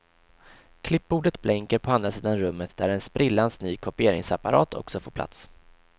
Klippbordet blänker på andra sidan rummet där en sprillans ny kopieringsapparat också får plats.